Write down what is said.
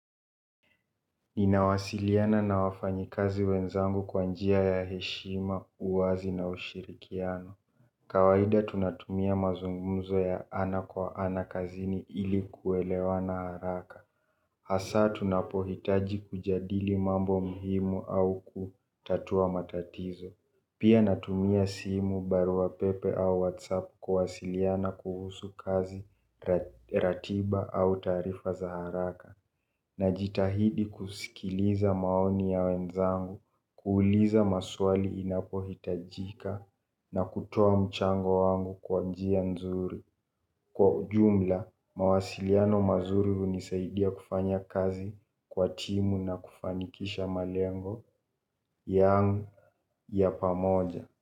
Ninawasiliana na wafanyi kazi wenzangu kwa njia ya heshima, uwazi na ushirikiano. Kawaida tunatumia mazungumzo ya ana kwa ana kazini ili kuelewa na haraka. Hasa tunapohitaji kujadili mambo muhimu au kutatua matatizo. Pia natumia simu barua pepe au whatsapp kuwasiliana kuhusu kazi ratiba au taarifa za haraka. Na jitahidi kusikiliza maoni ya wenzangu, kuuliza maswali inapohitajika na kutoa mchango wangu kwa njia nzuri. Kwa ujumla, mawasiliano mazuri hunisaidia kufanya kazi kwa timu na kufanikisha malengo yangu ya pamoja.